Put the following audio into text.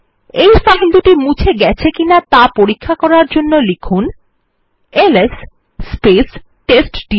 এই ফাইল দুটি মুছে গেছে কিনা ত়া পরীক্ষা করার জন্য লিখুন এলএস টেস্টডির